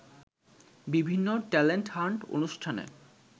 বিভিন্ন talent hunt অনুষ্ঠানে